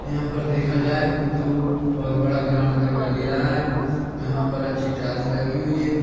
यहाँ पर देखा जाए तो बहुत बड़ा ग्राउंड दिखाई दे रहा है यहाँ पर अच्छी टाइल्स लगी हुई है।